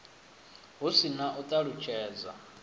hu si na u ṱalutshedza